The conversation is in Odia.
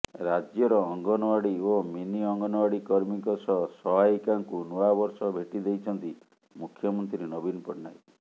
ରାଜ୍ୟର ଅଙ୍ଗନୱାଡି ଓ ମିନି ଅଙ୍ଗନୱାଡି କର୍ମୀଙ୍କ ସହ ସହାୟିକାଙ୍କୁ ନୂଆବର୍ଷ ଭେଟି ଦେଇଛନ୍ତି ମୁଖ୍ୟମନ୍ତ୍ରୀ ନବୀନ ପଟ୍ଟନାୟକ